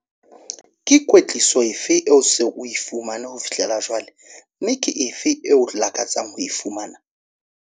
Ke kwetliso efe eo o seng o e fumane ho fihlela jwale, mme ke efe eo o lakatsang ho e fumana?